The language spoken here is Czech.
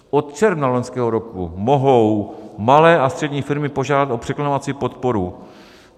Od června loňského roku mohou malé a střední firmy požádat o překlenovací podporu.